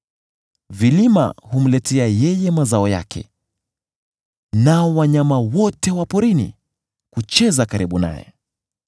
Vilima humletea yeye mazao yake, nao wanyama wote wa porini hucheza karibu naye.